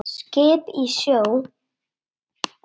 Skip í sjó.